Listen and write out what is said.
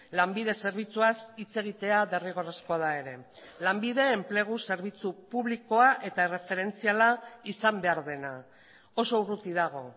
lanbide zerbitzuaz hitz egitea derrigorrezkoa da ere lanbide enplegu zerbitzu publikoa eta erreferentziala izan behar dena oso urruti dago